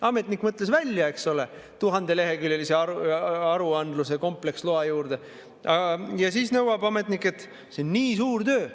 Ametnik mõtles välja, eks ole, 1000‑leheküljelise aruandluse kompleksloa juurde ja siis nõuab: "See on nii suur töö.